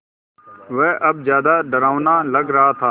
वह अब ज़्यादा डरावना लग रहा था